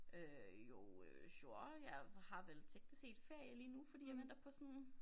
Øh jo øh sure jeg har vel teknisk set ferie lige nu fordi jeg venter på sådan